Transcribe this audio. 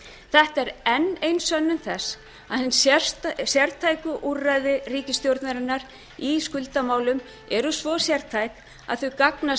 þetta er enn ein sönnun þess að hin sértæku úrræði ríkisstjórnarinnar í skuldamálum eru svo sértæk að þau gagnast